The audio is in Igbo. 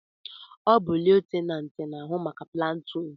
Ọ bu lutenanti n'ahụ maka platuun